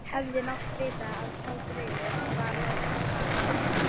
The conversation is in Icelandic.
Hefði mátt vita að sá draumur var of fagur.